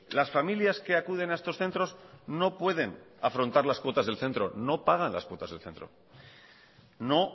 las familias que acuden a estos centros no pueden afrontar las cuotas del centro no pagan las cuotas del centro no